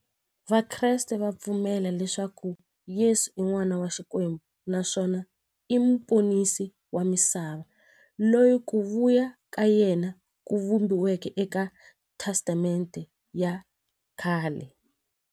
Vakreste va pfumela leswaku Yesu i n'wana wa Xikwembu naswona i muponisi wa misava, loyi ku vuya ka yena ku vhumbiweke eka Testamente ya khale.